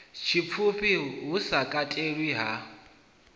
tshipfufhi hu sa katelwi ha